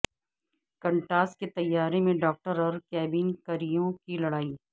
Qantas کے طیارے میں ڈاکٹر اور کیبن کریو کی لڑائی